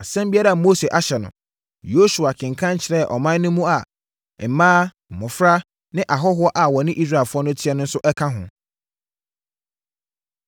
Asɛm biara a Mose ahyɛ no, Yosua kenkan kyerɛɛ ɔman mu no a mmaa, mmɔfra ne ahɔhoɔ a wɔne Israelfoɔ no teɛ no nso ka ho.